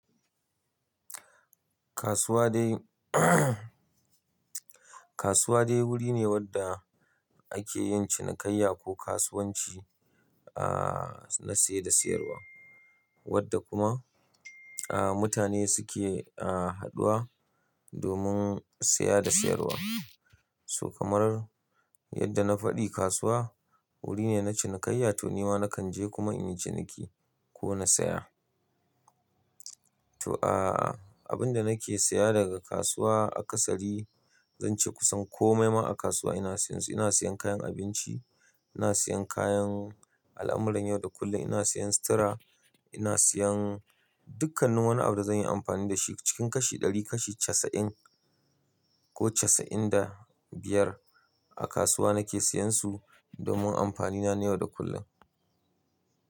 Kasuwa dai kasuwa dai wuri ne wadda ake yin cinikayya ko kasuwanci a na siya da siyarwa wadda kuma a mutane suke a haduwa domin siya da siyarwa. To kamarar yadda na faɗi kasuwa wuri ne na cinikayya to nima nakan je kuma in yi ciniki ko na saya. To a abinda nake siya daga kasuwa a ƙasari zance kusan komai ma a kasuwa ina siyan su. Ina siyan kayan abinci, ina siyan kayan al'amuran yau da kullum, ina siyan sitira, ina siyan dukkanin wani abu da zanyi amfani da shi cikin kashi ɗari kashi casa'in ko casa'in da biyar a kasuwa nake siyan su domin amfani na yau da kullum.